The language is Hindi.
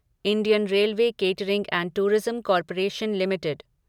Indian Railway Catering and Tourism Corporation limited